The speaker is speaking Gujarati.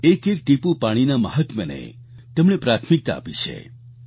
એક એક ટીપું પાણીના મહાત્મ્યને તેમણે પ્રાથમિકતા આપી છે